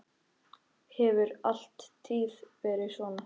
Hefur alla tíð verið svona.